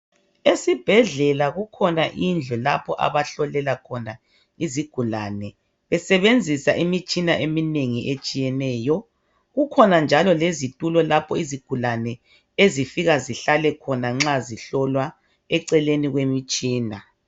Esibhedlela kukhona indlu lapho Abahlolela khona izigulane besebenzisa imitshina eminengi etshiyeneyo kukhona njalo lezitulo lapho izigulane ezifika zihlale khona nxa zihlolwa eceleni kwemitshina